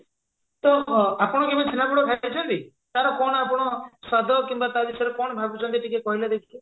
ତ ଆପଣ କେବେ ଛେନାପୋଡ ଖାଇଛନ୍ତି ତାର କଣ ଆପଣ ସ୍ଵାଦ କିମ୍ବା ତା ବିଷୟରେ କଣ ଭାବୁଛନ୍ତି ଟିକେ କହିଲେ ଦେଖି